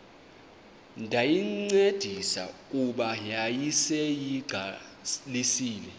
ndayincedisa kuba yayiseyiqalisile